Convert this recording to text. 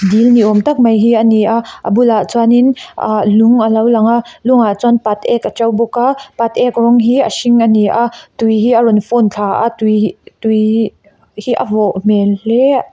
dil ni awm tak mai hi a ni a a bulah chuanin ah lung alo lang a lung ah chuan pat ek a to bawk a pat ek rawng hi a hring a ni a tui hi a rawn fawn thla a tui tui hi a vawh hmel hle--